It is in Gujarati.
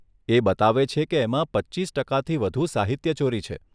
એ બતાવે છે કે એમાં પચ્ચીસ ટકાથી વધુ સાહિત્યચોરી છે.